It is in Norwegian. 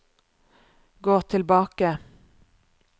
gå tilbake